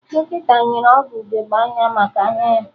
Dọkịta nyere Ogo ugegbe anya maka anya ya